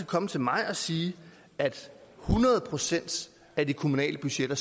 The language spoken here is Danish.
komme til mig og sige at hundrede procent af de kommunale budgetter